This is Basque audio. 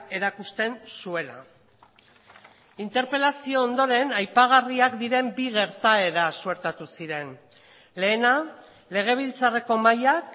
erakusten zuela interpelazio ondoren aipagarriak diren bi gertaera suertatu ziren lehena legebiltzarreko mahaiak